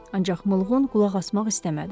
Ancaq mulğun qulaq asmaq istəmədi.